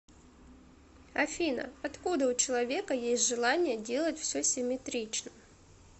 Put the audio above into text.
афина откуда у человека есть желание делать все симметрично